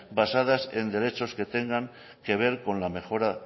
basadas en derechos que tengan que ver con la mejora